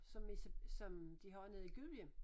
Som er som de har nede i Gudhjem